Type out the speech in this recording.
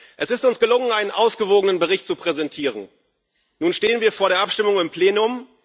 Es ist uns gelungen, einen ausgewogenen Bericht zu präsentieren, nun stehen wir vor der Abstimmung im Plenum.